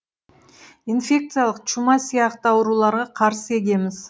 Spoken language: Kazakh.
инфекциялық чума сияқты ауруларға қарсы егеміз